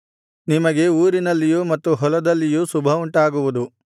ನಿಮಗೆ ಊರಿನಲ್ಲಿಯೂ ಮತ್ತು ಹೊಲದಲ್ಲಿಯೂ ಶುಭವುಂಟಾಗುವುದು